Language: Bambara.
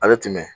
A bɛ tɛmɛ